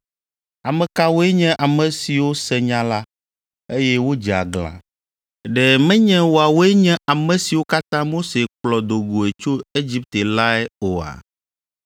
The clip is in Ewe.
Ame kawoe nye ame siwo se nya la, eye wodze aglã? Ɖe menye woawoe nye ame siwo katã Mose kplɔ do goe tso Egipte lae oa?